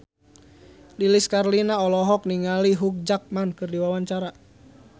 Lilis Karlina olohok ningali Hugh Jackman keur diwawancara